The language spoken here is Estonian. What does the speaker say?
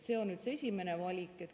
See on nüüd see esimene valik.